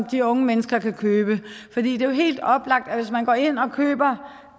de unge mennesker kan købe for det er jo helt oplagt at hvis man går ind og køber